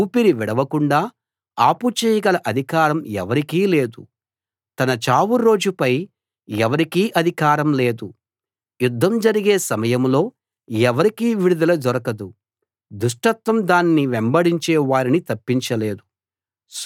ఊపిరి విడవకుండా ఆపుచేయగల అధికారం ఎవరికీ లేదు తన చావు రోజుపై ఎవరికీ అధికారం లేదు యుద్దం జరిగే సమయంలో ఎవరికీ విడుదల దొరకదు దుష్టత్వం దాన్ని వెంబడించే వారిని తప్పించలేదు